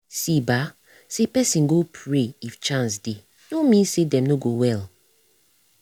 see bah say person go pray if chance dey no mean say dem no go well